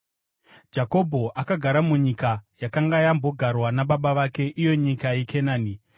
Jakobho akagara munyika yakanga yambogarwa nababa vake, iyo nyika yeKenani.